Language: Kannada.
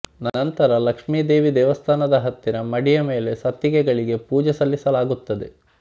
ನಂತರ ಲಕ್ಷ್ಮಿದೇವಿ ದೇವಸ್ಥಾನದ ಹತ್ತಿರ ಮಡಿಯ ಮೇಲೆ ಸತ್ತಿಗೆಗಳಿಗೆ ಪೂಜೆ ಸಲ್ಲಿಸಲಾಗುತ್ತದೆ